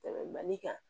Tɛmɛ mali kan